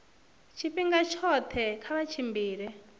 tshifhinga tshoṱhe kha vha tshimbile